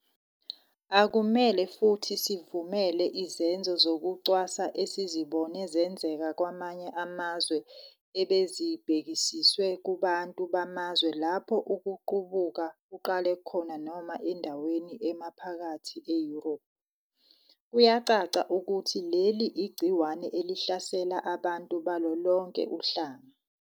Akumele futhi sivumele izenzo zokucwasa esizibone zenzeka kwamanye amazwe ebezibhekiswe kubantu bamazwe lapho ukuqubuka kuqale khona noma endaweni emaphakathi e-Europe. Kuyacaca ukuthi leli igciwane elihlasela abantu balolonke uhlanga.